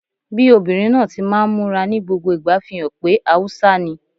Bí obìnrin náà ti máa ń múra ní gbogbo ìgbà fi hàn pé Haúsá ni